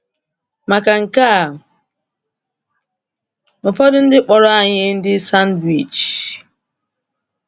Maka nke a, ụfọdụ ndị kpọrọ anyị ndị sandwich.